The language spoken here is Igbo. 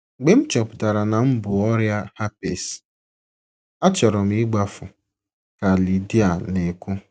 “ Mgbe m chọpụtara na m bu ọrịa herpes, achọrọ m ịgbafu, ” ka Lydia na - ekwu.